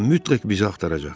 O mütləq bizi axtaracaq.